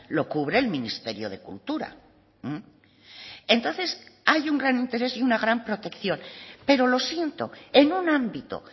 lo cubre el ministerio de cultura entonces hay un gran interés y una gran protección pero lo siento en un ámbito